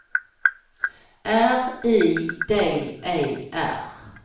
R I D E R